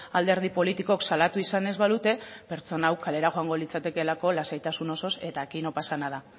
alderdi politikok salatu izan ez balute pertsona hau kalera joango litzatekelako lasaitasun osoz eta aquí no pasa nada